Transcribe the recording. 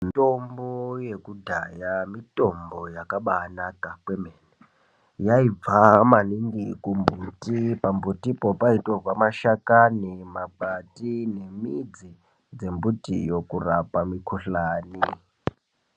Mitombo yekudhaya mitombo yakabanaka kwemene. Yaibva maningi kumbuti. Pambutipo paitorwa mashakani, makwati nemidzi dzembutiyo kurapa mikuhlani.